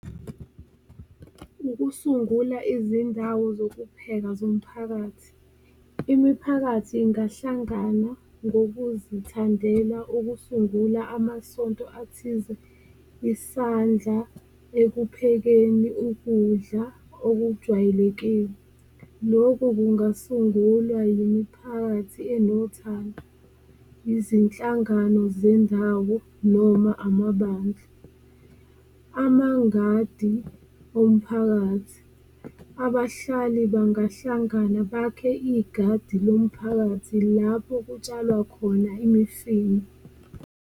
Ukusungula izindawo zokupheka zomphakathi, imiphakathi ingahlangana ngokuzithandela ukusungula amasonto athize, isandla ekuphekeni ukudla okujwayelekile, loku kungasungulwa yimiphakathi enothando, izinhlangano zendawo noma amabandla. Amangadi omphakathi, abahlali bangahlangana bakhe igadi lomphakathi lapho kutshalwa khona imifino.